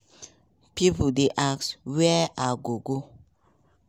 pipo dey ask "wia i go go?"